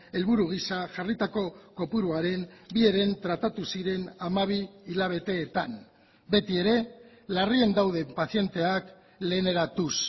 helburu giza jarritako kopuruaren bi heren tratatu ziren hamabi hilabeteetan beti ere larrien daude pazienteak leheneratuz